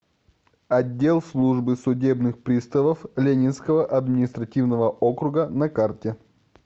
отдел службы судебных приставов ленинского административного округа на карте